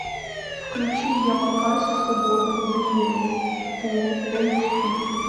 включи ямакаси свобода в движении фул эйч ди